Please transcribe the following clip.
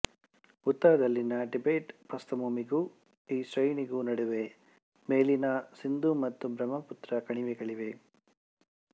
ಉತ್ತರದಲ್ಲಿನ Tibet ಪ್ರಸ್ಥಭೂಮಿಗೂ ಈ ಶ್ರೇಣಿಗೂ ನಡುವೆ ಮೇಲಿನ ಸಿಂಧೂ ಮತ್ತು ಬ್ರಹ್ಮಪುತ್ರ ಕಣಿವೆಗಳಿವೆ